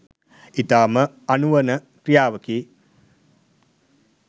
ඉතාම අනුවණ ක්‍රියාවකි.